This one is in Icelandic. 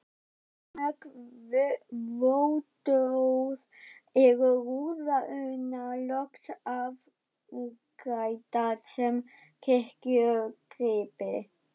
Eftir mörg vottorð eru rúðurnar loks afgreiddar sem kirkjugripir.